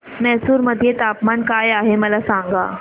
म्हैसूर मध्ये तापमान काय आहे मला सांगा